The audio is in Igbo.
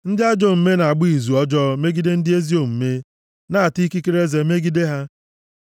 Ndị ajọ omume na-agba izu ọjọọ megide ndị ezi omume, na-ata ikekere eze megide ha;